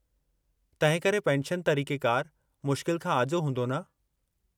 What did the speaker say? तंहिं करे पेंशन तरीक़ेकारु मुश्किल खां आजो हूंदो न?